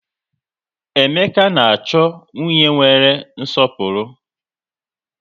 Emeka na-achọ nwunye nwere nwere nsọpụrụ